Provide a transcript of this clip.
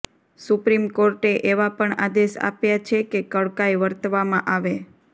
supreme કોર્ટે એવા પણ આદેશ આપ્યા છે કે કડકાઈ વર્તવામાં આવે